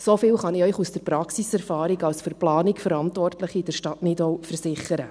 So viel kann ich Ihnen aus der Praxiserfahrung als für die Planung in der Stadt Nidau Verantwortliche versichern.